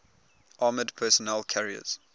armored personnel carriers